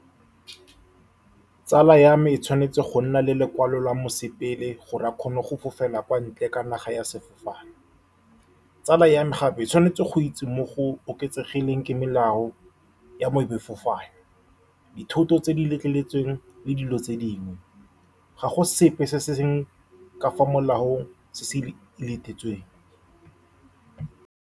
Tsala ya me e tshwanetse go nna le lekwalo la mosepele, gore a kgone go fofela kwa ntle ga naga ka sefofane. Tsala ya me gape e tshwanetse go itse mo go oketsegileng melao ya bo ema sefofane, dithoto tse di letleletsweng le dilo tse dingwe. Ga go sepe se se seng ka fa molaong se se letetsweng.